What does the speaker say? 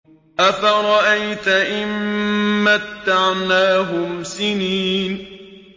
أَفَرَأَيْتَ إِن مَّتَّعْنَاهُمْ سِنِينَ